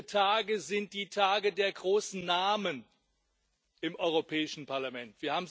Diese Tage sind die Tage der großen Namen im Europäischen Parlament.